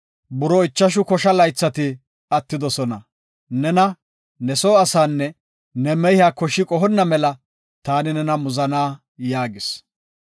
Buroo ichashu kosha laythati attidosona. Nena, ne soo asaanne ne mehiya koshi qohonna mela taani nena muzana’ ” yaagis.